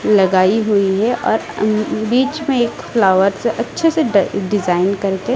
लगाई हुई है और अ बीच में एक फ्लावर्स अच्छे से डिजाइन करके--